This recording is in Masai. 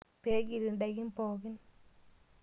Pee egil ndaikin pookin.